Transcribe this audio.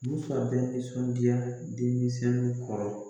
Musa bɛɛ nisɔndiya denmisɛnw kɔrɔ